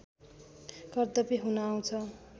कर्तव्य हुन आउँछ